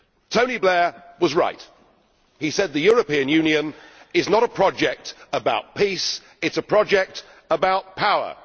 Tony Blair was right when he said the European Union is not a project about peace, it is a project about power.